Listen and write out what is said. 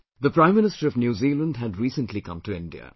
The Prime Minister of New Zealand had recently come to India